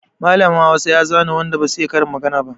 Mallamin Hausa ya zane waɗan da ba su iya karin magana ba.